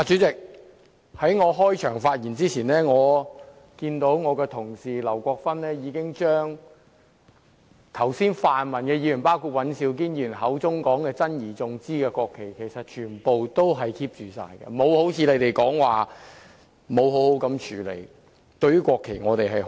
主席，在我開始發言前，我看到我的同事劉國勳議員已將剛才泛民議員包括尹兆堅議員口中珍而重之的國旗全部妥為存放，並非如你們所說般沒有妥善處理。